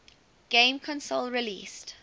game console released